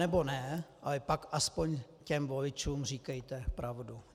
Anebo ne, ale pak aspoň těm voličům říkejte pravdu.